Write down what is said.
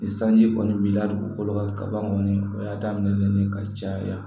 Ni sanji kɔni b'i la dugukolo kan ka ban kɔni o y'a daminɛ ye ka caya